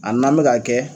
A n'an bɛ ka kɛ